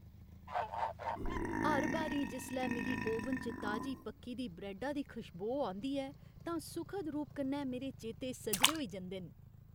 हर बारी जिसलै मिगी ओवन च ताजी पक्की दी ब्रैड्डा दी खशबो औंदी ऐ तां सुखद रूप कन्नै मेरे चेते सजरे होई जंदे न।